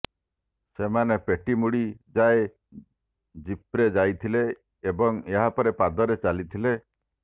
ସେମାନେ ପେଟ୍ଟିମୁଡି ଯାଏ ଜିପ୍ରେ ଯାଇଥିଲେ ଏବଂ ଏହାପରେ ପାଦରେ ଚାଲିଥିଲେ